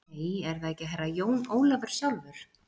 Nei, er það ekki Herra Jón Ólafur sjálfur?